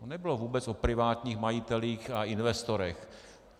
To nebylo vůbec o privátních majitelích a investorech.